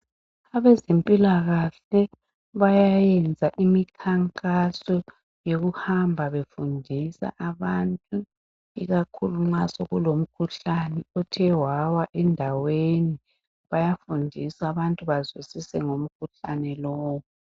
Abezempilakahle bayayenza imikhankaso yokuhamba befundisa abantu ikakhulu nxa sekube lomkhuhlane othe wawa endaweni bayafundisa abantu bazwisise ngomkhuhlane lowo.